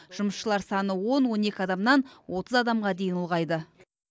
жұмысшылар саны он он екі адамнан отыз адамға дейін ұлғайды